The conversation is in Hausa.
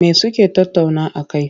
Me suke tattauna a kai?